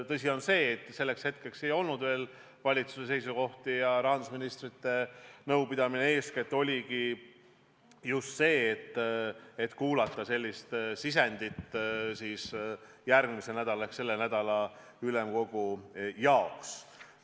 Tõsi on see, et selleks hetkeks valitsuse seisukohti veel ei olnud ja rahandusministrite nõupidamine oligi eeskätt võimalus kuulata sisendit järgmise nädala – nüüd juba selle nädala – ülemkogu jaoks.